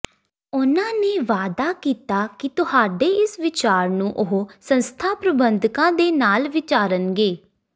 ਉਨ੍ਹਾਂ ਨੇ ਵਾਅਦਾ ਕੀਤਾ ਕਿ ਤੁਹਾਡੇ ਇਸ ਵੀਚਾਰ ਨੂੰ ਉਹ ਸੰਸਥਾ ਦੇ ਪ੍ਰਬੰਧਕਾਂ ਨਾਲ ਵੀਚਾਰਨਗੇ